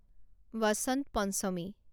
Basanta Panchami